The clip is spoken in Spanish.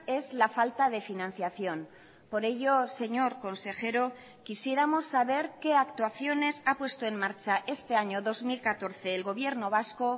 es la falta de financiación por ello señor consejero quisiéramos saber qué actuaciones ha puesto en marcha este año dos mil catorce el gobierno vasco